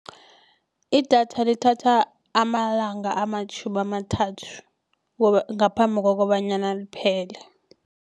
Idatha lithatha amalanga amatjhumi amathathu ngaphambi kokobanyana liphele.